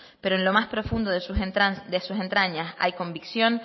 pero en lo más profundo de sus entrañas hay convicción